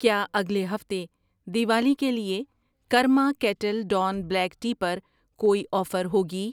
کیا اگلے ہفتے دیوالی کے لیے Karma Kettle Dawn black tea پر کوئی آفر ہوگی؟